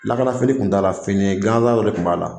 Lakanafini tun t'a la fini gansan dɔ de tun b'a la